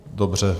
Dobře.